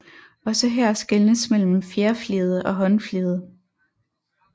Også her skelnes mellem fjerfliget og håndfliget